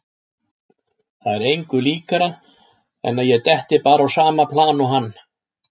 Það er engu líkara en að ég detti bara á sama plan og hann.